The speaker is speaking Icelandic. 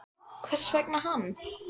Hvers vegna hann?